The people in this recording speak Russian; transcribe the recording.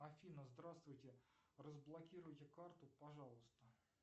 афина здравствуйте разблокируйте карту пожалуйста